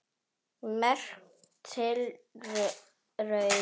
Merk tilraun